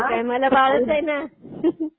मग काय मला बाळच आहे ना. Laughs